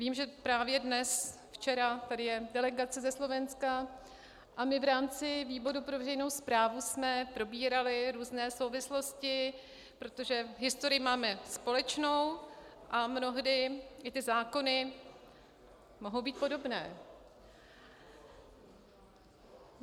Vím, že právě dnes, včera, tady je delegace ze Slovenska a my v rámci výboru pro veřejnou správu jsme probírali různé souvislosti, protože historii máme společnou a mnohdy i ty zákony mohou být podobné.